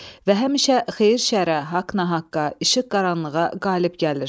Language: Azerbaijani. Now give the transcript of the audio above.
Və həmişə xeyir şərə, haqq nahaqqa, işıq qaranlığa qalib gəlir.